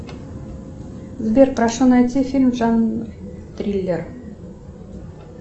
сбер прошу найти фильм жанр триллер